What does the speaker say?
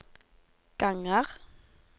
ganger